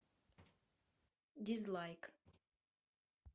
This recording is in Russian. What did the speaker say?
дизлайк